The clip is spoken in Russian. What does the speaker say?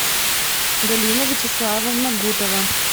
галина вячеславовна гутова